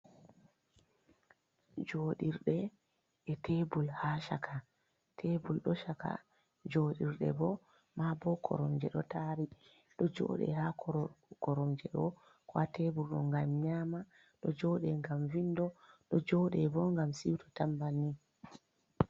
Joɗirde e tebul ha chaka. Tebul ɗo chaka, joɗirde bo ma bo koromje ɗo tari. Ɗo joɗe ha koromje ɗo ko ha tebul ɗo ngam nyama, ɗo joɗe ngam vindi, ɗo joɗe bo ngam siuto tan banni.